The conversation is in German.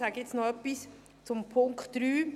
Ich sage jetzt noch etwas zum Punkt 3: